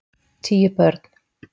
Tíu börn